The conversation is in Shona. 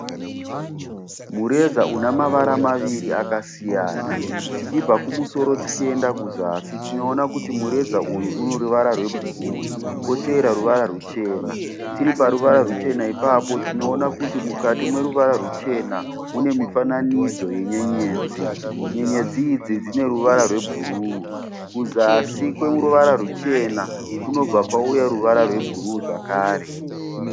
Mureza una mavara maviri akasiyana. Tichibva kumusoro tichienda kuzasi tinoona kuti mureza uyu une ruvara rwebhuruu kotevera ruvara ruchena. Tiri paruvara ruchena ipapo tinoona kuti mukati meruvara ruchena mune mifananidzo wenyenyedzi. Nyenyedzi idzi dzine ruvara rwebhuruu. Kuzasi kweruvara ruchena kunobva kwauya ruvara rwebhuruu zvakare.